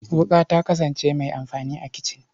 Wuƙa ta kasane mai amfani a kicin.